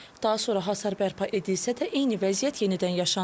Daha sonra hasar bərpa edilsə də eyni vəziyyət yenidən yaşanıb.